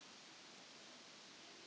Vilbjörn, lækkaðu í hátalaranum.